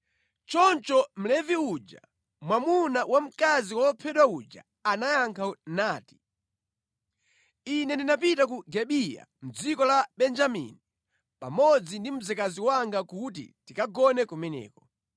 Choncho Mlevi uja, mwamuna wa mkazi wophedwa uja anayankha nati, “Ine ndinapita ku Gibeya mʼdziko la Benjamini pamodzi ndi mzikazi wanga kuti tikagone kumeneko.